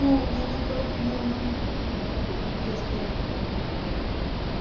Não, minha mãe falou que não, não me... não tudo bem, vamos respeitar, coma o seu.